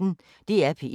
DR P1